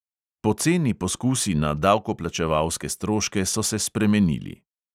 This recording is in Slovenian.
Poceni poskusi na davkoplačevalske stroške so se spremenili.